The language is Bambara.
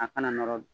A kana nɔrɔ